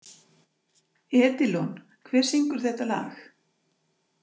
Edilon, hver syngur þetta lag?